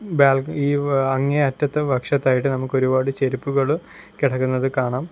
ബാൽ ഈ അങ്ങേ അറ്റത്തെ പക്ഷത്തായിട്ട് നമുക്ക് ഒരുപാട് ചെരുപ്പുകള് കിടക്കുന്നത് കാണാം.